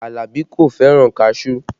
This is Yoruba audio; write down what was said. Alabi kò fẹ́ràn kaṣuú